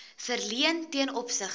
verleen ten opsigte